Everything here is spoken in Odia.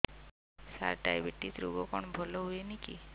ସାର ଡାଏବେଟିସ ରୋଗ କଣ ଭଲ ହୁଏନି କି